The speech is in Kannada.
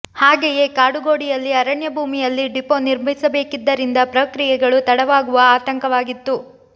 ಹಾಗೆಯೇ ಕಾಡುಗೋಡಿಯಲ್ಲಿ ಅರಣ್ಯ ಭೂಮಿಯಲ್ಲಿ ಡಿಪೊ ನಿರ್ಮಿಸಬೇಕಿದ್ದರಿಂದ ಪ್ರಕ್ರಿಯೆಗಳು ತಡವಾಗುವ ಆತಂಕವಾಗಿತ್ತು